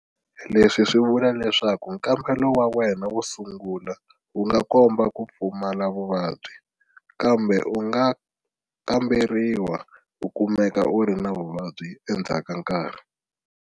Leswi swi vula leswaku nkambelo wa wena wo sungula wu nga komba ku pfumala vuvabyi, kambe u nga kamberiwa u kumeka u ri na vuvabyi endzhaku ka nkarhi.